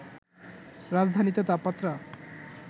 রাজধানীতে তাপমাত্রা